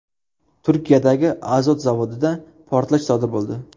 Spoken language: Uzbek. Turkiyadagi azot zavodida portlash sodir bo‘ldi .